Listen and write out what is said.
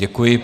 Děkuji.